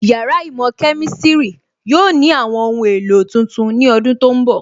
Yàrá īmò Kemistiri yóò ní àwọn ohun èlò tuntun ní ọdún tó ń bọ̀